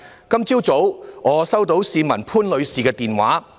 今早我收到一名市民潘女士的電話。